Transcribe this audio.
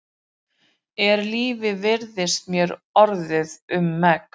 Er lífið virðist mér orðið um megn.